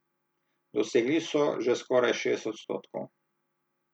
Dosegli so že skoraj šest odstotkov.